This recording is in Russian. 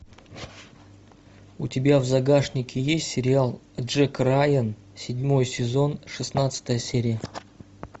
у тебя в загашнике есть сериал джек райан седьмой сезон шестнадцатая серия